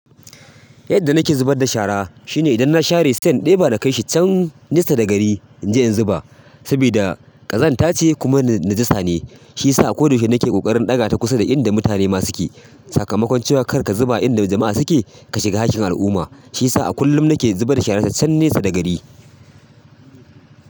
Yadda nake zubar da shara shine idan na share sai in ɗeba na kaishi can nesa da gari in je in zuba. Saboda ƙazantace kuma najasa ne shiyasa ko da yaushe nake ƙoƙarin ɗaga ta kusa da inda mutane ma suke. Sakamakon cewa kar ka zuba inda jama'a suke ka shiga hakkin al'umma. Shiyasa a kullum nake zubarda shara can nesa da gari.